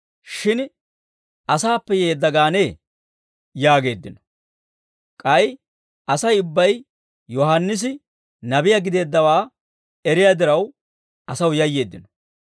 Shin, ‹Asaappe yeedda gaanee?› » yaageeddino; k'ay Asay ubbay Yohaannisi nabiyaa gideeddawaa eriyaa diraw, asaw yayyeeddino.